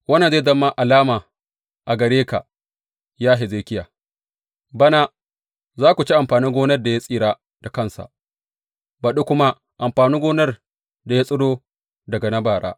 Wannan zai zama alama a gare ka, ya Hezekiya, Bana, za ku ci amfanin gonar da ya tsira da kansa, baɗi kuma amfanin gonar da ya tsiro daga na bara.